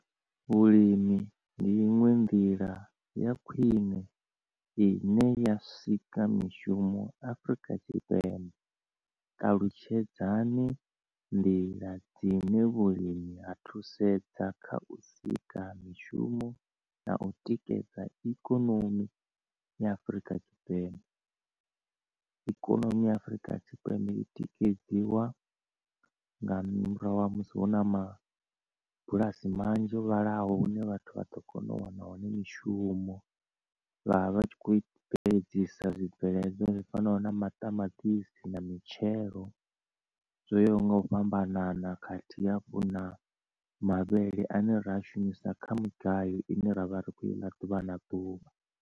Vhulimi ndi iṅwe nḓila ya khwine ine ya sika mishumo Afrika Tshipembe, ṱalutshedzani nḓila dzine vhulimi ha thusedza kha u sika mishumo na u tikedza ikonomi ya Afrika Tshipembe. Ikonomi ya Afurika Tshipembe i tikedziwa nga murahu ha musi hu na mabulasi manzhi o vhalaho hune vhathu vha ḓo kona u wana hone mishumo vha vha tshi kho bveledzisa zwibveledzwa zwi fanaho na maṱamaṱisi na mitshemelo zwoyaho nga u fhambanana khathihi hafhu na mavhele ane ra shumisa kha mugayo ine ravha ri kho i ḽa ḓuvha na ḓuvha.